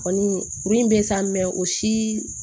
Kɔni kuru in bɛ sa o si